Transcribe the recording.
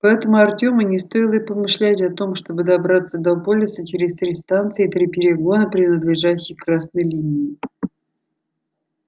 поэтому артёму не стоило и помышлять о том чтобы добраться до полиса через три станции и три перегона принадлежащих красной линии